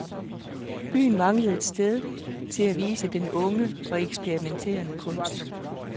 Byen manglede et sted til at vise den unge og eksperimenterende kunst.